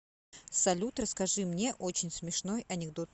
салют расскажи мне очень смешной анекдот